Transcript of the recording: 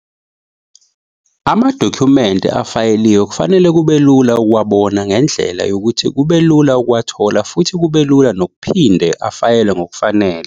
Amadokhumente afayeliwe kufanele kube lula ukuwabona ngendlela yokuthi kube lula ukuwathola futhi kube lula nokuphinde afayelwe ngokufanele.